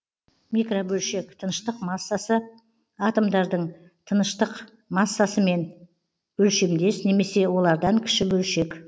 микробөлшек тыныштық массасы атомдардың тыныштық массасымен өлшемдес немесе олардан кіші бөлшек